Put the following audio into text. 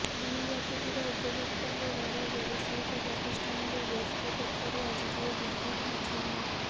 bill ବାକି ଥିବା ଉପଭୋକ୍ତାଙ୍କ ଘର ଓ ବ୍ୟବସାୟୀକ ପ୍ରତିଷ୍ଠାନରୁ ଓ୍ୱେସ୍କୋ ପକ୍ଷରୁ ଆଜିଠାରୁ ବିଦ୍ୟୁତ୍ ବିଚ୍ଛିନ୍ନ